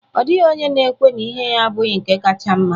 O dighi onye na-ekwe na ihe ya abughi nke kacha mma.